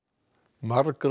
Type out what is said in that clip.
margra